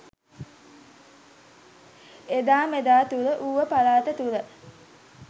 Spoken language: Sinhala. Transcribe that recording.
එදා මෙදා තුර ඌව පළාත තුළ